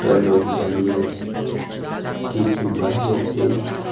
একটা লোক দাঁড়িয়ে আছে কিছু বাইক আছে.